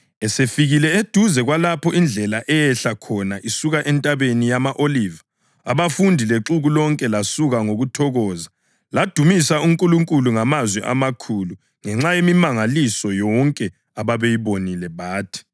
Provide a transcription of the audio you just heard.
Esefikile eduze kwalapho indlela eyehla khona isuka eNtabeni yama-Oliva abafundi lexuku lonke lasuka ngokuthokoza ladumisa uNkulunkulu ngamazwi amakhulu ngenxa yemimangaliso yonke ababeyibonile, bathi: